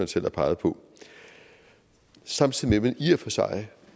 selv har peget på samtidig man i og for sig